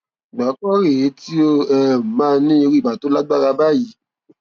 ìgbà àkọkọ rè é tí ó um máa ní irú ibà tó lágbára báyìí